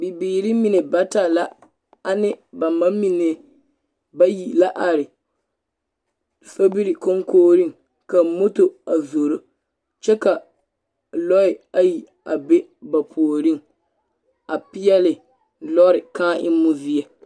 Bibiiri mine bata la ba ne bam amine bayi la are sobiri koŋkoriŋ ka moto a zoro kyɛ ka lɔɛ ayi a be ba puoriŋ a peɛle lɔɛ kãã emmo zie.